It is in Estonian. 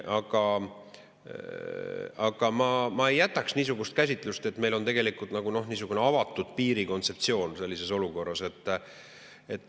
Aga ma ei jätaks niisugust käsitust, et meil on tegelikult nagu niisugune avatud piiri kontseptsioon sellises olukorras.